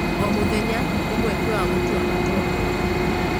O mũthenya nĩ mweke wa gũtua matua mega.